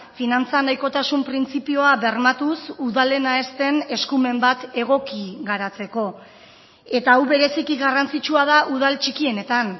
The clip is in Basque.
finantza nahikotasun printzipioa bermatuz udalena ez den eskumen bat egoki garatzeko eta hau bereziki garrantzitsua da udal txikienetan